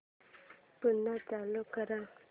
पुन्हा चालू कर